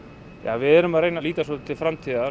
við erum að reyna að líta svolítið til framtíðar